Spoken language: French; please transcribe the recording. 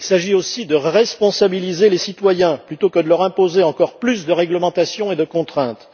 Il s'agit aussi de responsabiliser les citoyens plutôt que de leur imposer encore plus de réglementation et de contraintes.